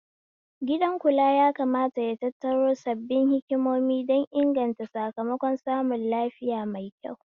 Gidan kula ya kamata ya tattaro sabbin hikimomi don inganta sakamakon samun lafiya maikyau